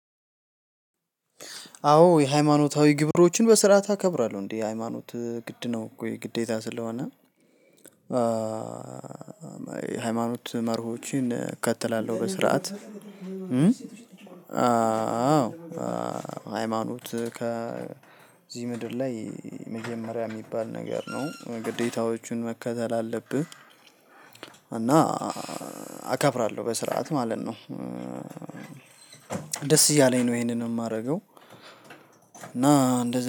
አዎ የሃይማኖታዊ ግብሮችን በስርዓት አከብራለሁ። እንዴ ሃይማኖት ግድ ነው እኮ የግዴታ ስለሆነ ሃይማኖት መርሆችን እከተላለሁ በስርዓት። ሃይማኖት ከዚህ ምድር ላይ መጀመሪያ የሚባል ነገር ነው። ግዴታዎቹን መከተል አለብህ። እና አክብራለሁ በስርዓት ማለት ነው። ደስ እያለኝ ነው ይሄንን የማደርገው። እና እንደዚህ